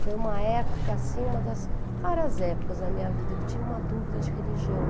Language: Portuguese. Foi uma época, uma das raras épocas na minha vida que eu tinha uma dúvida de religião.